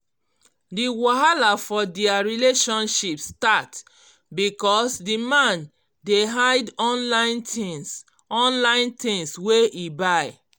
d wahala for dia relationship start because d man dey hide online things online things wey e buy